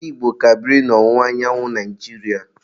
Ndi Igbo ka biri n'ọwụwa anyanwụ Naijiria.